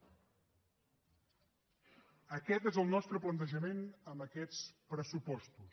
aquest és el nostre plantejament amb aquests pressupostos